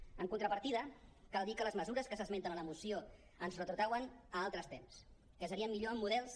en contrapartida cal dir que les mesures que s’esmenten a la moció ens retrotrauen a altres temps que serien millor en models